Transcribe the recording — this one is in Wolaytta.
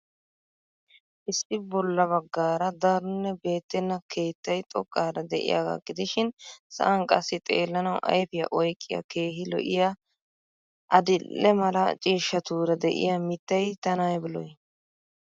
Issi bolla baggaara daronne beettenna kettay xoqqara de'iyaagaa gidishiin sa'aan qassi xeellanawu ayfiya oyqqiya keehii lo'iya adildhdhe mala ciishshatuura de'iya mittay tana aybba lo'ii.